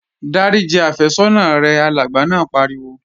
Dáríji àfẹ́sọ́nà rẹ! Alàgbà náà pariwo